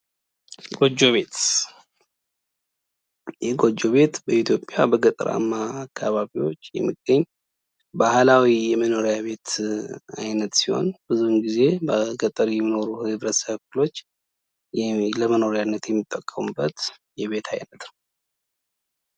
ጎጆ ቤት ይህ ጎጆ ቤት በኢትዮጵያ በተለያዩ ገጠራማ አካባቢዎች የሚገኝ ባህላዊ የመኖሪያ ቤት አይነት ሲህን ብዙውን ጊዜ በገጠር የሚኖሩ የህብረተሰብ ክፍሎች ለመኖሪያነት የሚጠቀሙት የቤት አይነት ነው።